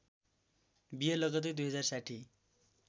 विहे लगत्तै २०६०